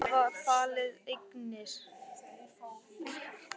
Segist ekki hafa falið eignir